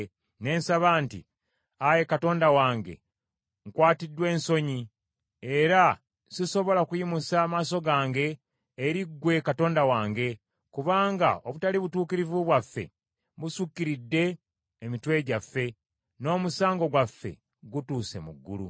ne nsaba nti: “Ayi Katonda wange, nkwatiddwa ensonyi, era sisobola kuyimusa maaso gange eri gwe Katonda wange, kubanga obutali butuukirivu bwaffe busukiridde emitwe gyaffe, n’omusango gwaffe gutuuse mu ggulu.